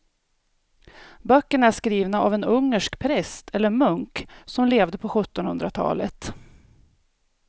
Böckerna är skrivna av en ungersk präst eller munk som levde på sjuttonhundratalet.